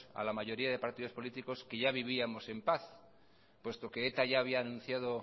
a la mayoría de los partidos políticos que ya vivíamos en paz puesto que eta ya había anunciado